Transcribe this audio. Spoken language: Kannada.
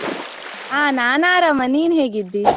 ಆ ನಾನ್ ಆರಾಮ, ನೀನ್ ಹೇಗಿದ್ದಿ?